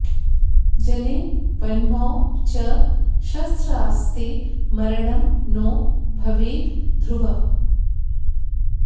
जले वह्नौ च शस्त्रास्ते मरणं नो भवेद् ध्रुवम्